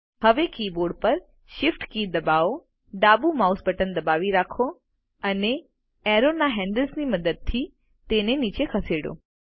હવે કિબોર્ડ પર Shift key દબાવો ડાબુ માઉસ બટન દબાવી રાખો અને એરોના હેન્ડલ ની મદદથી તેને નીચે ખેંચો